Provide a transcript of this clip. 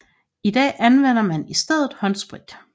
I dag anvender man i stedet håndsprit